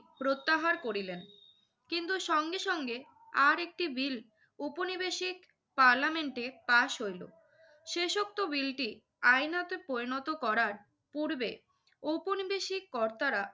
প্রত্যাহার করিলেন। কিন্তু সঙ্গে সঙ্গে আরেকটি বিল ঔপনবেশিক পার্লামেন্টে পাশ হইল। শেষোক্ত বিলটি আইনত পরিণত করার পূর্বে ঔপনবেশিক কর্তারা